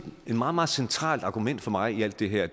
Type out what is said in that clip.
et meget meget centralt argument for mig i alt det her